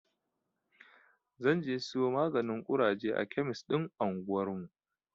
Zan je siyo maganin ƙuraje a kemis ɗin anguwarmu.